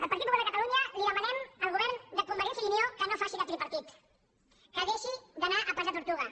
el partit popular de catalunya li demanem al govern de convergència i unió que no faci de tripartit que deixi d’anar a pas de tortuga